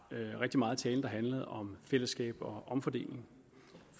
rigtig meget af talen der handlede om fællesskab og omfordeling